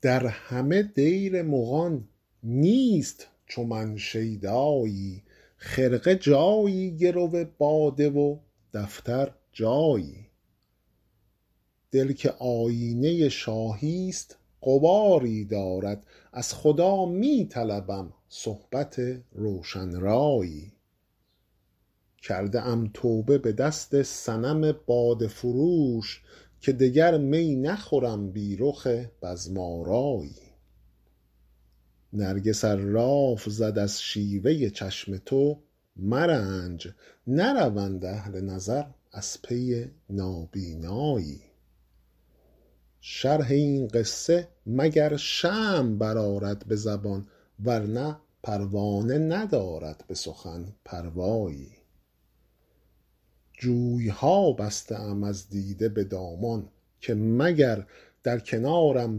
در همه دیر مغان نیست چو من شیدایی خرقه جایی گرو باده و دفتر جایی دل که آیینه شاهی ست غباری دارد از خدا می طلبم صحبت روشن رایی کرده ام توبه به دست صنم باده فروش که دگر می نخورم بی رخ بزم آرایی نرگس ار لاف زد از شیوه چشم تو مرنج نروند اهل نظر از پی نابینایی شرح این قصه مگر شمع برآرد به زبان ورنه پروانه ندارد به سخن پروایی جوی ها بسته ام از دیده به دامان که مگر در کنارم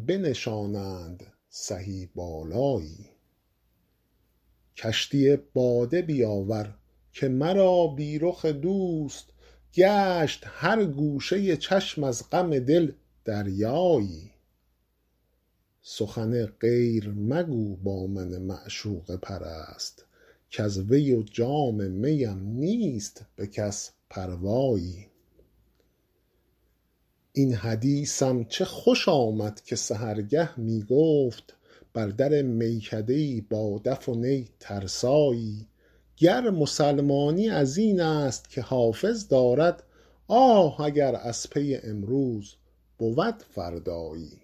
بنشانند سهی بالایی کشتی باده بیاور که مرا بی رخ دوست گشت هر گوشه چشم از غم دل دریایی سخن غیر مگو با من معشوقه پرست کز وی و جام می ام نیست به کس پروایی این حدیثم چه خوش آمد که سحرگه می گفت بر در میکده ای با دف و نی ترسایی گر مسلمانی از این است که حافظ دارد آه اگر از پی امروز بود فردایی